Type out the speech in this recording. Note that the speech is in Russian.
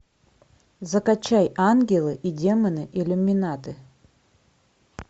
закачай ангелы и демоны иллюминаты